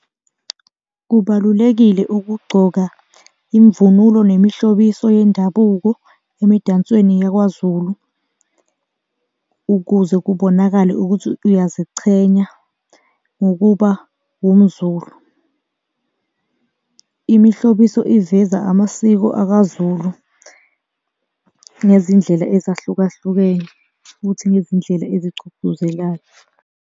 Kubalulekile ukugcoka imvunulo nemihlobiso yendabuko emidansweni yakwaZulu ukuze kubonakale ukuthi uyazichenya ngokuba umZulu. Imihlobiso iveza amasiko akaZulu ngezindlela ezahlukahlukene futhi ngezindlela ezigcugcuzelayo.